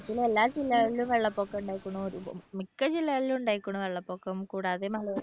കേരളത്തിലെ എല്ലാ ജില്ലകളിലും വെള്ളപ്പൊക്കം ഉണ്ടായിരിക്കണു മിക്ക ജില്ലകളിലും ഉണ്ടായിരിക്കണു വെള്ളപ്പൊക്കം കൂടാതെ മലയോര